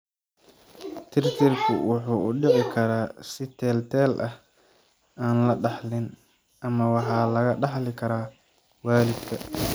Tirtirku wuxuu u dhici karaa si teel-teel ah (aan la dhaxlin) ama waxaa laga dhaxli karaa waalidka.